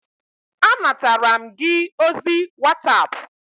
Anatara m gị ozi whatapp